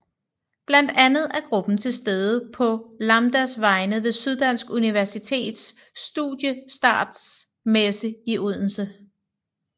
Blandt andet er gruppen til stede på Lambdas vegne ved Syddansk Universitets Studiestartsmesse i Odense